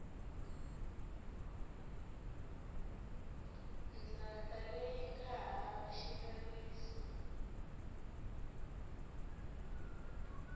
ndzhaka leyi nga hava xileriso